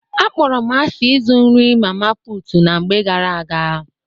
Akpọrọ m asị ịzụ nri mama putu na mgbe ghara aga